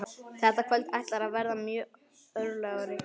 Þetta kvöld ætlar að verða mjög örlagaríkt.